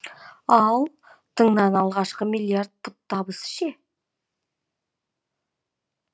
ал тыңның алғашқы миллиард пұт табысы ше